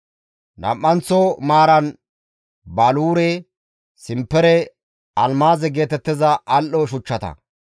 nam7anththo maaran baluure, simpere almaaze geetettiza al7o shuchchata;